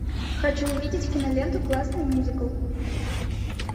хочу увидеть киноленту классный мюзикл